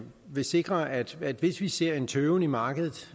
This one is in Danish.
vil sikre at hvis vi ser en tøven i markedet